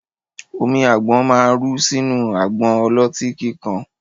Omi àgbọ̀n ma ru sínú àgbọn ọlọ́tí kíkan